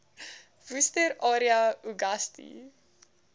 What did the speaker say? worcester area uagasti